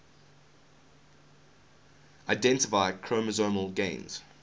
identify chromosomal gains